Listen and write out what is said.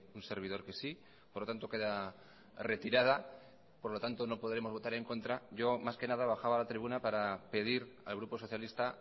un servidor que sí por lo tanto queda retirada por lo tanto no podremos votar en contra yo más que nada bajaba a la tribuna para pedir al grupo socialista